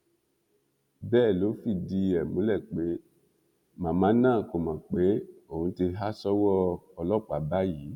bẹẹ ló fìdí ẹ múlẹ pé màmá náà kò mọ pé òun ti há sọwọ ọlọpàá báyìí